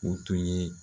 O tun ye